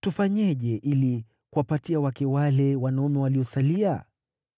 tufanyeje ili kuwapatia wake wale wanaume waliosalia?